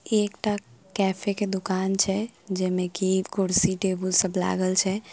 एकटा कैफे के दुकान छै जेमे की कुर्सी टेबुल सब लागल छै ।